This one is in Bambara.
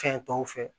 Fɛn tɔw fɛ